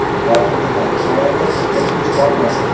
Oxirgi daqiqalarda bizda kuch qolmadi.